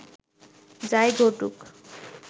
যা-ই ঘটুক